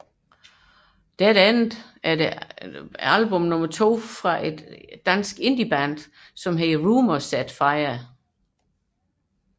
Dead Ends er det andet album fra det danske indieband The Rumour Said Fire